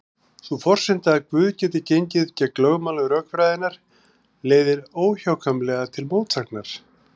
Sú forsenda að Guð geti gengið gegn lögmálum rökfræðinnar leiðir óhjákvæmilega til mótsagnar.